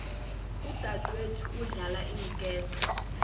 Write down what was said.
udadwethu udlala iinketo